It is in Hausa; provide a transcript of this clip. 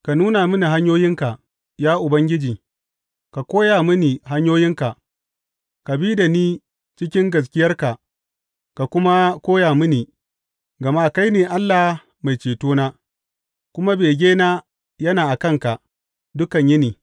Ka nuna mini hanyoyinka, ya Ubangiji, ka koya mini hanyoyinka; ka bi da ni cikin gaskiyarka ka kuma koya mini, gama kai ne Allah Mai cetona, kuma begena yana a kanka dukan yini.